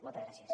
moltes gràcies